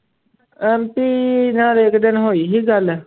ਐਂਪੀ ਨਾਲ ਇੱਕ ਦਿਨ ਹੋਈ ਸੀ ਗੱਲ